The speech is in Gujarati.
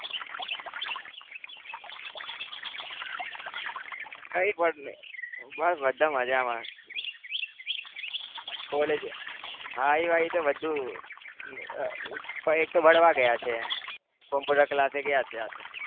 કઈ પણ નહી બસ બધા મજામાં college ભાઈ-વાઈ તો એક તો ભણવા ગયા છે computer class એ ગયા છે આ તો